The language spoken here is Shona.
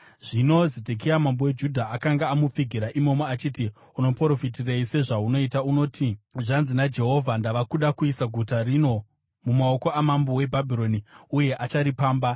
Zvino Zedhekia mambo weJudha akanga amupfigira imomo, achiti, “Unoprofitirei sezvaunoita? Unoti, ‘Zvanzi naJehovha: Ndava kuda kuisa guta rino mumaoko amambo weBhabhironi, uye acharipamba.